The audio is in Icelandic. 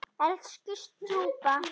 Elsku stjúpa.